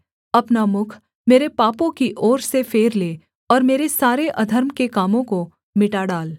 अपना मुख मेरे पापों की ओर से फेर ले और मेरे सारे अधर्म के कामों को मिटा डाल